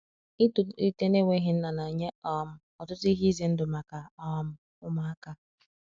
itọlite na enweghi nna na nye um ọtụtụ ihe ize ndụ maka um ụmụaka